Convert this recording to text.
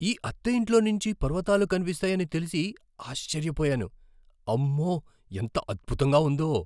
ఈ అద్దె ఇంట్లోంచి పర్వతాలు కనిపిస్తాయని తెలిసి ఆశ్చర్యపోయాను. అమ్మో! ఎంత అద్భుతంగా ఉందో.